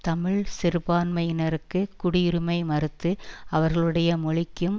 தமிழ் சிறுபான்மையினருக்கு குடியுரிமை மறுத்து அவர்களுடைய மொழிக்கும்